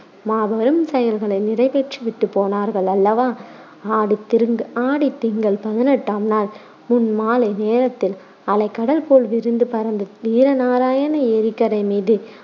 மாபெரும் செயல்களை நிறைவேற்றி விட்டுப் போனார்கள் அல்லவா ஆடித் திரு~ ஆடித் திங்கள் பதினெட்டாம் நாள் முன் மாலை நேரத்தில் அலை கடல் போல் விரிந்து பரந்து வீர நாராயண ஏரிக்கரை மீது